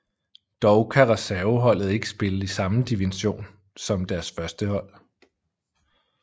Dog kan reserveholdet ikke spille i samme division som deres førstehold